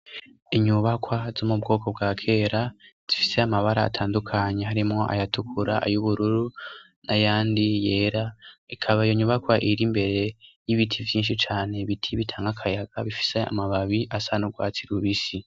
Inyubakwa z'mu bwoko bwa kera zifise amabara atandukanyi harimwo ayatukura ayo ubururu na yandi yera ikaba yo nyubakwa iri imbere y'ibiti vyinshi cane bitiy bitanga akayaga bifise amababi asan'urwatsi lubisi.